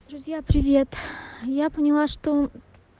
друзья привет я поняла что